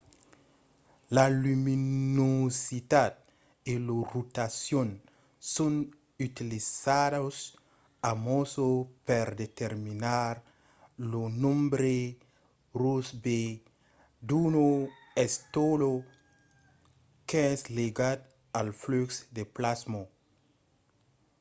la luminositat e la rotacion son utilizadas amassa per determinar lo nombre rossby d'una estela qu'es ligat al flux de plasma